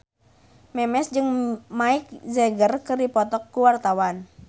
Memes jeung Mick Jagger keur dipoto ku wartawan